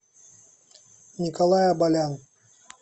николай абалян